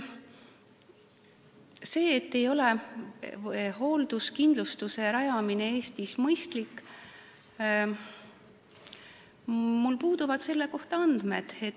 Selle kohta, et hoolduskindlustuse rajamine Eestis ei ole mõistlik, puuduvad mul andmed.